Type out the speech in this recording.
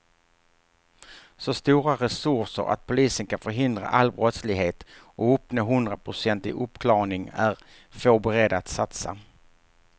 Så stora resurser att polisen kan förhindra all brottslighet och uppnå hundraprocentig uppklarning är få beredda att satsa.